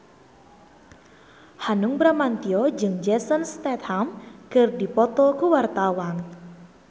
Hanung Bramantyo jeung Jason Statham keur dipoto ku wartawan